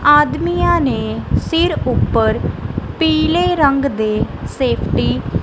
ਆਦਮੀਆਂ ਨੇ ਸਿਰ ਉਪਰ ਪੀਲੇ ਰੰਗ ਦੇ ਸੇਫਟੀ --